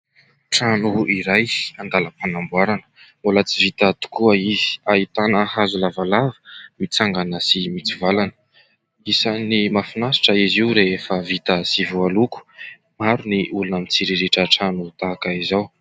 Trano iray an-dalam-panamboarana mbola tsy vita tokoa izy, ahitana hazo lavalava mitsangana sy mitsivalana. Isan'ny mahafinaritra izy io rehefa vita sy voaloko. Maro ny olona mitsiriritra trano tahaka izao.